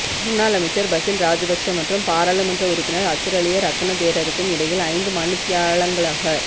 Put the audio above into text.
முன்னாள் அமைச்சர் பசில் ராஜபக்ஷ மற்றும் பாராளுமன்ற உறுப்பினர் அத்துரலிய ரத்ன தேரருக்கும் இடையில் ஐந்து மணித்தியாலங்களாக